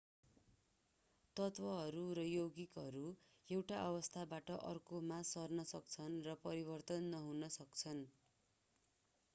तत्वहरू र यौगिकहरू एक अवस्थाबाट अर्कोमा सर्न सक्छन् र परिवर्तन नहुन सक्छन्